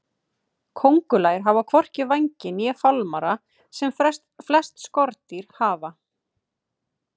Kóngulær hafa hvorki vængi né fálmara sem flest skordýr hafa.